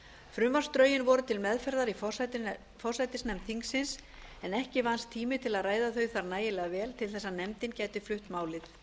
frumvarpsdrögin voru til meðferðar í forsætisnefnd þingsins en ekki vannst tími til að ræða þau þar nægilega vel til að nefndin gæti flutt málið